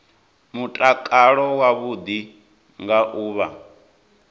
mutakalo wavhuḓi nga u vha